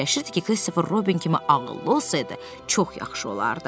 Fikirləşirdi ki, Kristofer Robin kimi ağıllı olsaydı, çox yaxşı olardı.